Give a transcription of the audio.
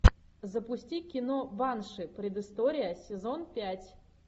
запусти кино банши предыстория сезон пять